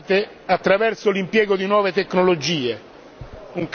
reinventate attraverso l'impiego di nuove tecnologie.